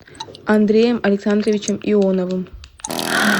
андреем александровичем ионовым